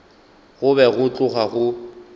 go be go tloga go